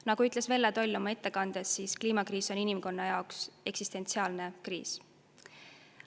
Nagu ütles Velle Toll oma ettekandes, kliimakriis on inimkonna jaoks eksistentsiaalne kriis.